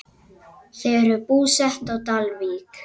Þau eru búsett á Dalvík.